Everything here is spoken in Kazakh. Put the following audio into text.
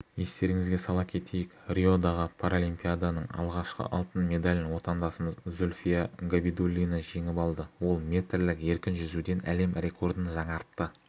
естеріңізге сала кетейік риодағы паралимпиаданың алғашқы алтын медалін отандасымыз зүлфия габидуллина жеңіп алды ол метрлік еркін жүзуден әлем рекордын жаңартты